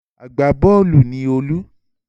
Agbá-bọ́ọ́lù ni Olú.